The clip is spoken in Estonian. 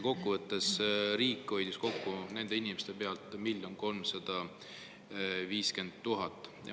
Kokkuvõttes hoidis riik nende inimeste pealt kokku 1 350 000.